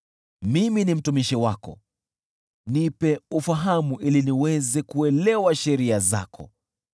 Mimi ni mtumishi wako; nipe ufahamu ili niweze kuelewa sheria zako.